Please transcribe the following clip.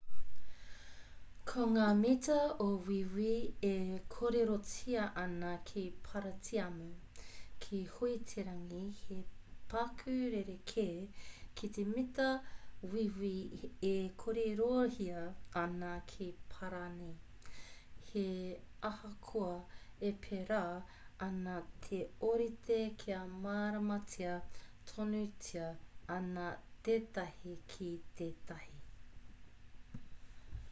ko ngā mita o wīwi e kōrerotia ana ki paratiamu ki huiterangi he paku rerekē ki te mita wīwi e kōrerohia ana ki parani he ahakoa e pērā ana te ōrite kia māramatia tonutia ana tētahi ki tētahi